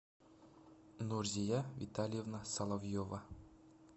нурзия витальевна соловьева